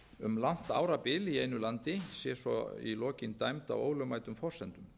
um langt árabil í einu landi sé svo í lokin dæmd á ólögmætum forsendum